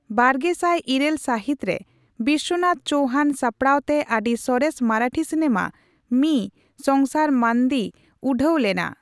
ᱵᱟᱨᱜᱮᱥᱟᱭ ᱤᱨᱟᱹᱞ ᱥᱟᱹᱦᱤᱛ ᱨᱮ ᱵᱤᱥᱥᱚᱱᱟᱛᱷ ᱪᱳᱣᱦᱟᱱ ᱥᱟᱯᱲᱟᱣᱛᱮ ᱟᱹᱰᱤ ᱥᱚᱨᱮᱥ ᱢᱟᱨᱟᱴᱷᱤ ᱥᱤᱱᱮᱢᱟ ᱢᱤ ᱥᱚᱝᱥᱟᱨ ᱢᱟᱱᱫᱤ ᱩᱰᱷᱟᱹᱣ ᱞᱮᱱᱟ ᱾